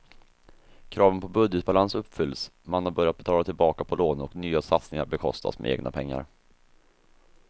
Kraven på budgetbalans uppfylls, man har börjat betala tillbaka på lånen och nya satsningar bekostas med egna pengar.